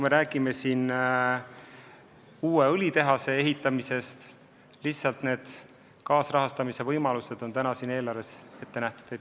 Me räägime siin uue õlitehase ehitamisest, lihtsalt need kaasrahastamise võimalused on eelarves ette nähtud.